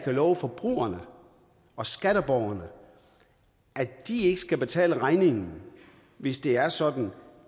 love forbrugerne og skatteborgerne at de ikke skal betale regningen hvis det er sådan